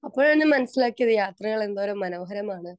Speaker 2 അപ്പോഴാണ് മനസിലാക്കിയത് യാത്രകൾ എന്തോരം മനോഹരമാണ്.